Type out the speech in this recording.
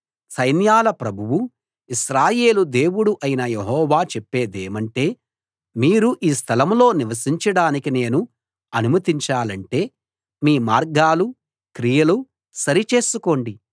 సైన్యాల ప్రభువు ఇశ్రాయేలు దేవుడు అయిన యెహోవా చెప్పేదేమంటే మీరు ఈ స్థలంలో నివసించడానికి నేను అనుమతించాలంటే మీ మార్గాలు క్రియలు సరి చేసుకోండి